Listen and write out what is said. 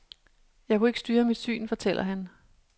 Jeg kunne ikke styre mit syn, fortæller han.